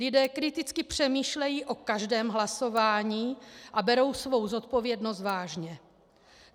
Lidé kriticky přemýšlejí o každém hlasování a berou svou zodpovědnost vážně.